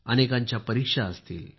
अनेकांच्या परीक्षा असतील